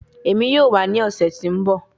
Emi yoo wa ni ọsẹ to nbọ